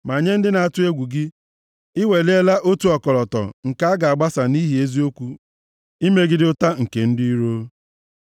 Ma nye ndị na-atụ egwu gị, i weliela otu ọkọlọtọ nke a ga-agbasa nʼihi eziokwu imegide ụta nke ndị iro. Sela